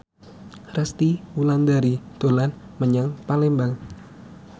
Resty Wulandari dolan menyang Palembang